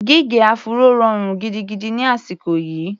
Gígẹ áfúró rọrùn gidigidi ni àsìkò yìí.